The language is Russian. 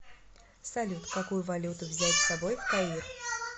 салют какую валюту взять с собой в каир